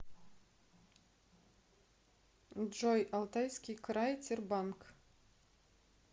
джой алтайский край тербанк